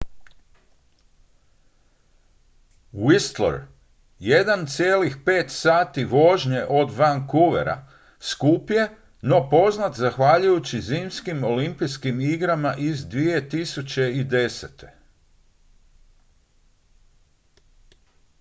whistler 1,5 sati vožnje od vancouvera skup je no poznat zahvaljujući zimskim olimpijskim igrama iz 2010